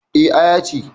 Eh, Aya ce